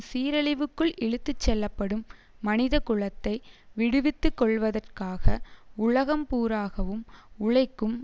சீரழிவுக்குள் இழுத்து செல்லப்படும் மனித குலத்தை விடுவித்துக்கொள்வதற்காக உலகம் பூராகவும் உழைக்கும்